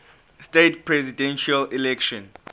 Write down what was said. states presidential election